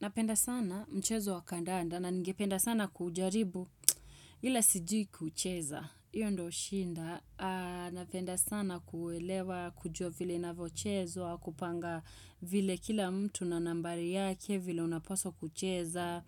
Napenda sana mchezo wa kandanda na ningependa sana kujaribu ila sijui kuucheza. Hiyo ndo shida. Napenda sana kuuelewa kujua vile inanvyochezwa kupanga vile kila mtu na nambari yake vile unapaswa kucheza.